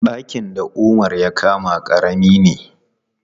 Ɗakin da Umar ya kama ƙarami ne.